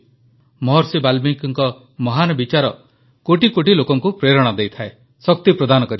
ମହର୍ଷି ବାଲ୍ମୀକିଙ୍କ ମହାନ ବିଚାର କୋଟି କୋଟି ଲୋକଙ୍କୁ ପ୍ରେରଣା ଦେଇଥାଏ ଶକ୍ତି ପ୍ରଦାନ କରିଥାଏ